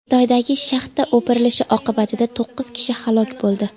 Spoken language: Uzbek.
Xitoydagi shaxta o‘pirilishi oqibatida to‘qqiz kishi halok bo‘ldi.